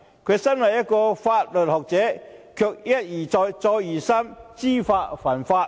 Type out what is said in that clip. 他身為一名法律學者，卻一而再、再而三知法犯法。